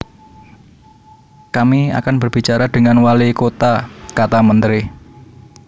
Kami akan berbicara dengan walikota kata menteri